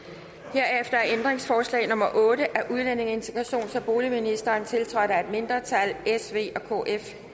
herefter er ændringsforslag nummer otte af udlændinge integrations og boligministeren tiltrådt af et mindretal